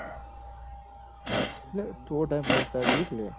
એટલ થોડો time fresh થવા જોવ કે લ્યા